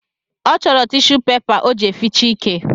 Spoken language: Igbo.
Ọ chọrọ tishu pepa o ji eficha ike